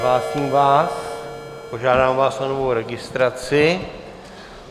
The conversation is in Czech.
Odhlásím vás, požádám vás o novou registraci.